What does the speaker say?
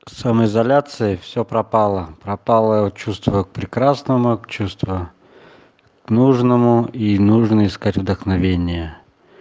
самоизоляция всё пропало пропало чувство к прекрасному чувство к нужному и нужно искать вдохновение